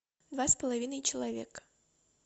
два с половиной человека